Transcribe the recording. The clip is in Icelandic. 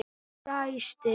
Hún dæsti.